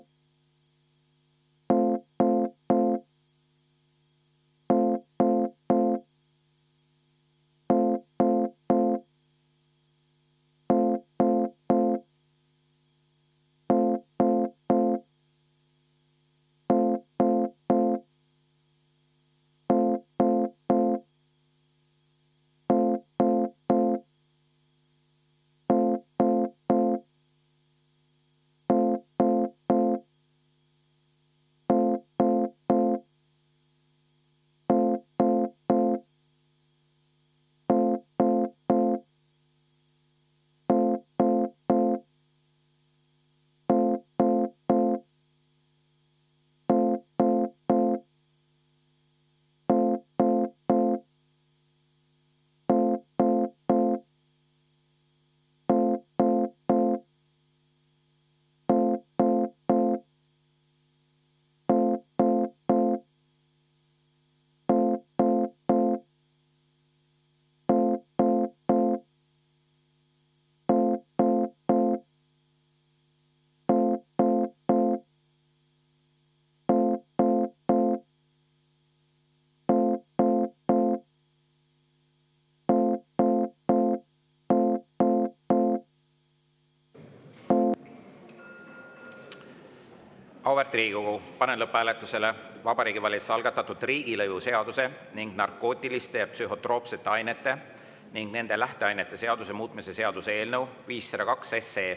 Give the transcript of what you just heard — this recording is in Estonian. Auväärt Riigikogu, panen lõpphääletusele Vabariigi Valitsuse algatatud riigilõivuseaduse ning narkootiliste ja psühhotroopsete ainete ning nende lähteainete seaduse muutmise seaduse eelnõu 502.